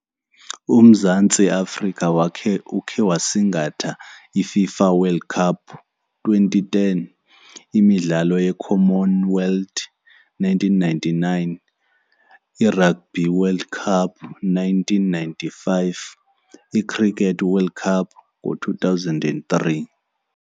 UMzantsi Afrika wakhe, ukhe wasingatha iFIFA World Cup twenty ten, imidlalo yeCommon Wealth nineteen ninety-nine, iRugby World Cup nineteen ninety-five, iCricket World Cup ngo-two thousand and three.